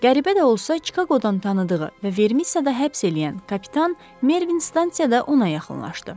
Qəribə də olsa, Çikaqodan tanıdığı və Vermissada həbs eləyən kapitan Mervin stansiyada ona yaxınlaşdı.